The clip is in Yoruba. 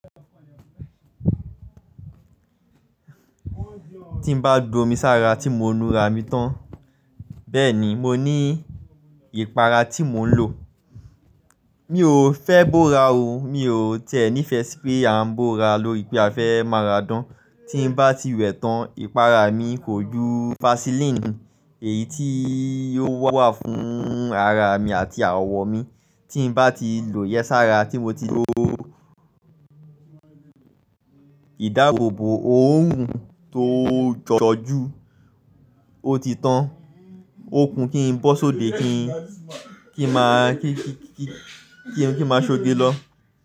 Tí n bá gbó omi sára tí mo ń nu ara mi tán, bẹ́ẹ̀ ni mo ní ìpara tí mò ń lò. Mi ò fẹ́ bóra o, mi ò tẹ́ẹ́ ní ìfẹ́ pé à ń bóra lórí pé a fẹ́ máa ra dán. Tí n bá ti wẹ̀ tán, ìpara mi kò ju vaseline èyí tí yóò wà fún ara mi àti àwọ̀ mi, tí n bá ti lò yẹ́ sára tí mo ti lo ìdáàbòbò òòrùn tó jọjọ́ ju, ó ti tán. Ó kún kí n bọ́ sóde kí n máa ṣoge lọ.